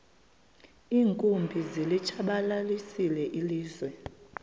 iinkumbi zilitshabalalisile ilizwe